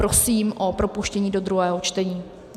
Prosím o propuštění do druhého čtení.